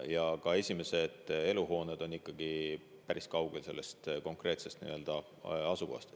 Ja ka esimesed eluhooned on ikkagi päris kaugel konkreetsest asukohast.